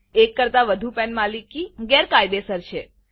એક કરતાં વધુ PANપેન માલિકી ગેરકાયદેસર છે